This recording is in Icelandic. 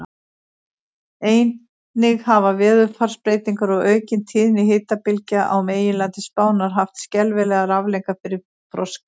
Einnig hafa veðurfarsbreytingar og aukin tíðni hitabylgja á meginlandi Spánar haft skelfilegar afleiðingar fyrir froskdýr.